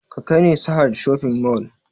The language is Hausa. Ka kai ni sahad shopping mall!